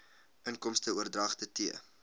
inkomste oordragte t